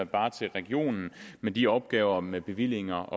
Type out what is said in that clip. bare til regionen med de opgaver med bevillinger